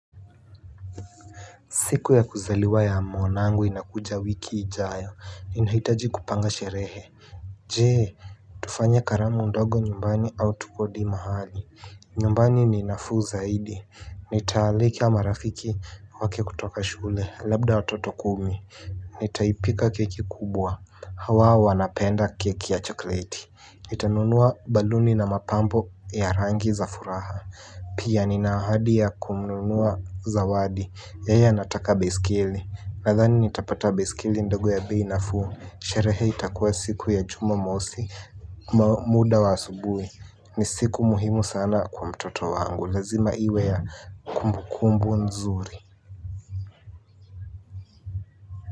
Siku ya kuzaliwa ya mwanangu inakuja wiki ijayo, ninahitaji kupanga sherehe. Je tufanye karamu ndogo nyumbani au tukodi mahali. Nyumbani ni nafuu zaidi. Nitaalika marafiki wake kutoka shule, labda watoto kumi. Nitaipika keki kubwa, hawa wanapenda keki ya chokoleti. Nitanunua baluni na mapambo ya rangi za furaha. Pia nina ahadi ya kununua zawadi yeye anataka baiskeli. Nadhani nitapata baiskeli ndogo ya bei nafuu sherehe itakuwa siku ya jumamosi. Muda wa asubuhi ni siku muhimu sana kwa mtoto wangu. Lazima iwe ya kumbukumbu nzuri.